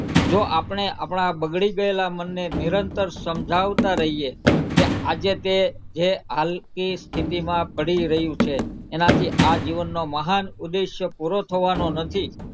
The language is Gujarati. જો આપણે આપડા બગડી ગયેલાં મનને નિરંતર સમજાવતા રહીએ કે આજે તે જે હલકી સ્થિતિમાં પડી રહ્યું છે એનાથી આ જીવનનો મહાન ઉદેશ્ય પૂરો થવાનો નથી.